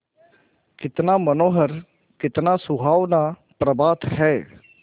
कितना मनोहर कितना सुहावना प्रभात है